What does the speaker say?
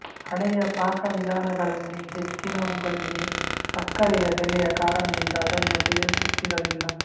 ಹಳೆಯ ಪಾಕವಿಧಾನಗಳಲ್ಲಿ ಹೆಚ್ಚಿನವುಗಳಿಗೆ ಸಕ್ಕರೆಯ ಬೆಲೆಯ ಕಾರಣದಿಂದ ಅದನ್ನು ಸೇರಿಸುತ್ತಿರಲಿಲ್ಲ